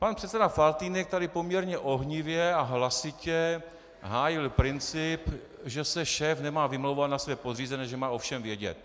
Pan předseda Faltýnek tady poměrně ohnivě a hlasitě hájil princip, že se šéf nemá vymlouvat na své podřízené, že má o všem vědět.